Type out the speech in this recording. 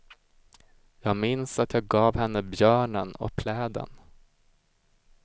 Jag minns att jag gav henne björnen och pläden.